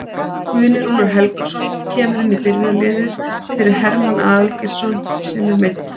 Guðni Rúnar Helgason kemur inn í byrjunarliðið fyrir Hermann Aðalgeirsson sem er meiddur.